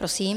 Prosím.